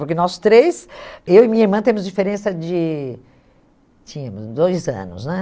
Porque nós três, eu e minha irmã, temos diferença de... Tínhamos, dois anos, né?